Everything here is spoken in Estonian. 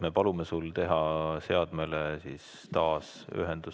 Me palume sul teha seadmele taasühendus.